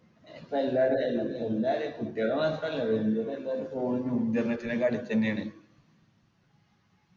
ഇപ്പൊ എല്ലാരു എല്ലാ എല്ലാരും കുട്ടികള് മാത്രല്ല വെല്ലോരും എല്ലാരും phone നു internet നു ഒക്കെ addict എന്നെയാണ്